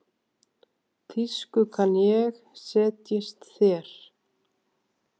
Þýsku kann ég, setjist þér.